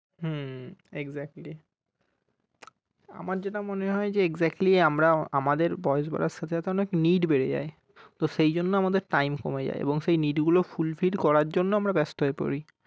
হুম exactly আমার যেটা মনে হয় যে exactly আমরা আমাদের বয়স বাড়ার সাথে সাথেও অনেক need বেড়ে যাই তো সেই জন্য আমাদের time কমে যায় এবং সেই need গুলো fulfill করার জন্য আমরা ব্যস্ত হয়ে পড়ি